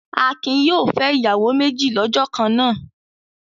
Akin yóò fẹ́ ìyàwó méjì lọ́jọ́ kan náà.